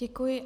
Děkuji.